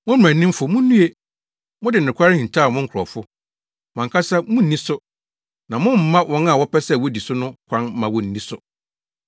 “Mo, mmaranimfo, munnue! Mode nokware hintaw mo nkurɔfo. Mo ankasa munni so, na mommma wɔn a wɔpɛ sɛ wodi so no kwan mma wonni so.”